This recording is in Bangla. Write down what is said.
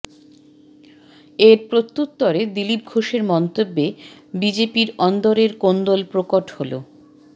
এর প্রত্যুত্তরে দিলীপ ঘোষের মন্তব্যে বিজেপির অন্দরের কোন্দল প্রকট হল